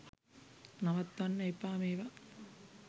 නවත්වන්න එපා මේවා.